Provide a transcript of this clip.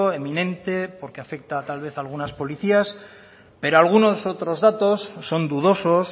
eminente porque afecta tal vez a algunas policías pero algunos otros datos son dudosos